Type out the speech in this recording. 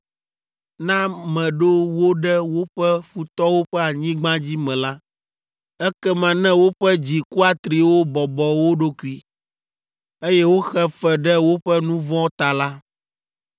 na meɖo wo ɖe woƒe futɔwo ƒe anyigba dzi me la, ekema ne woƒe dzi kuatriwo bɔbɔ wo ɖokui, eye woxe fe ɖe woƒe nu vɔ̃ ta la,